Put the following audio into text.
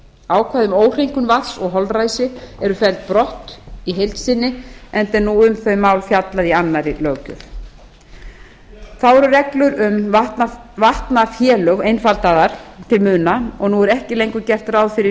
ákvæði um óhreinkun vatns og holræsi eru felld brott í heild sinni enda er nú um þau mál fjallað í annarri löggjöf þá eru reglur um vatnafélög einfaldaðar til muna og nú er ekki lengur gert ráð fyrir skylduaðild